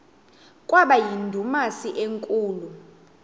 kwaba yindumasi enkulu